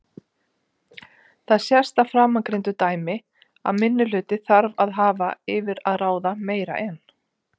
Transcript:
Það sést af framangreindu dæmi að minnihluti þarf að hafa yfir að ráða meira en